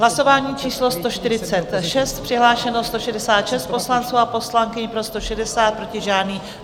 Hlasování číslo 146, přihlášeno 166 poslanců a poslankyň, pro 160, proti žádný.